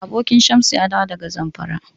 Abokin Shamsu ya dawo daga Zamfara.